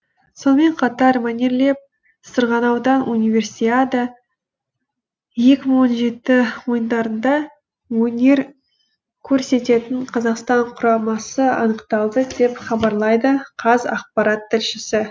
сонымен қатар мәнерлеп сырғанаудан универсиада екі мың он жеті ойындарында өнер көрсететін қазақстан құрамасы анықталды деп хабарлайды қазақпарат тілшісі